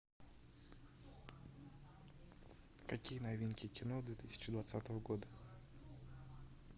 какие новинки кино две тысячи двадцатого года